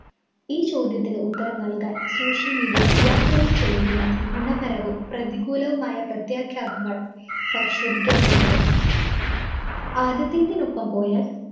ഈ ചോദ്യത്തിന് ഉത്തരം നല്‍കാന്‍ social media യുവാക്കളില്‍ ചെലുത്തുന്ന ഗുണപരവും പ്രതികൂലവുമായ പ്രത്യാഘാതങ്ങൾ പരിശോധിക്കേണ്ടതുണ്ട്. ആദ്യത്തേതിനൊപ്പം പോയാല്‍